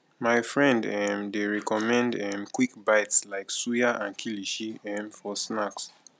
my friend um dey recommend um quick bites like suya and kilishi um for snack